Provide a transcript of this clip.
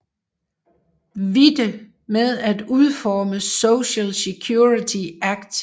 Witte med at udforme Social Security Act